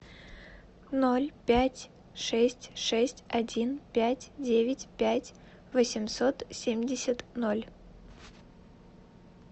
ноль пять шесть шесть один пять девять пять восемьсот семьдесят ноль